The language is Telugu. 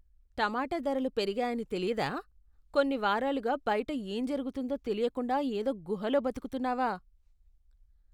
టమాటా ధరలు పెరిగాయని తెలియదా? కొన్ని వారాలుగా బయట ఏం జరుగుతోందో తెలియకుండా ఏదో గుహలో బతుకుతున్నావా?